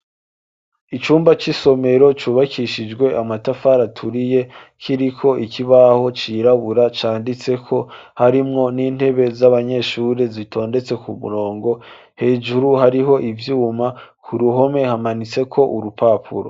Icumba c'isomero cubakishijwe amatafara turiye kiri ko ikibaho cirabura canditse ko harimwo n'intebe z'abanyeshuri zitondetse ku murongo hejuru hariho ibyuma ku ruhome hamanitse ko urupapuro.